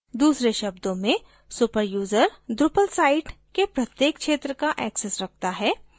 दूसरे शब्दों में super यूज़र drupal site के प्रत्येक क्षेत्र का access रखता है